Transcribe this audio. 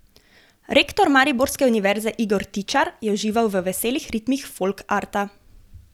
Rektor mariborske univerze Igor Tičar je užival v veselih ritmih Folkarta.